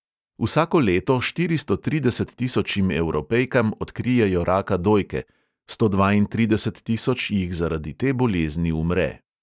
Vsako leto štiristo trideset tisočim evropejkam odkrijejo raka dojke, sto dvaintrideset tisoč jih zaradi te bolezni umre.